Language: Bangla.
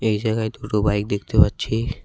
এই জায়গায় দুটো বাইক দেখতে পাচ্ছি।